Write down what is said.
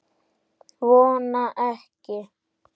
Vona ekki.